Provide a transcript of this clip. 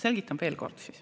Selgitan siis veel kord.